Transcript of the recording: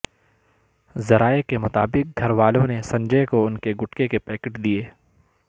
ذرائع کے مطابق گھر والوں نے سنجے کو ان کے گٹکے کے پیکٹ دیے